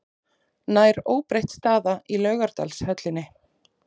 Nær óbreytt staða í Laugardalshöllinni